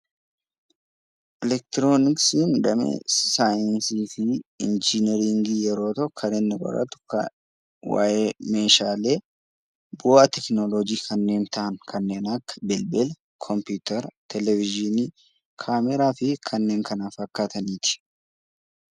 Elektirooniksiin damee saayiinsii fi injiinaringii yeroo ta'u kan inni qoratu waa'ee meeshaalee bu'aa tekinoloojii kanneen ta'an kanneen akka bilbila, kompiyuutera, Televeziyoonii, kaameeraa fi kanneen kana fakkaataniidha.